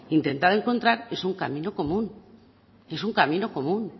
intentado encontrar es un camino común